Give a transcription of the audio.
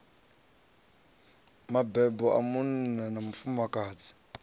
mabebo a munna na mufumakadzi